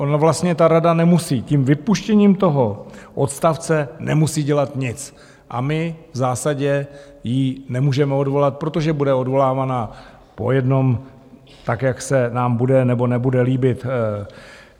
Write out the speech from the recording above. Ona vlastně ta rada nemusí, tím vypuštěním toho odstavce nemusí dělat nic a my v zásadě ji nemůžeme odvolat, protože bude odvolávána po jednom, tak jak se nám bude nebo nebude líbit.